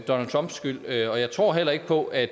donald trumps skyld og jeg tror heller ikke på at